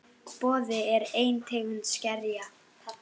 Boði: er ein tegund skerja.